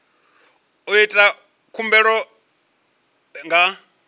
ndi u ita khumbelo nga